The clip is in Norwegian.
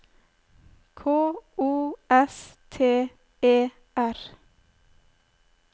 K O S T E R